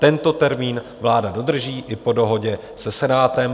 Tento termín vláda dodrží i po dohodě se Senátem.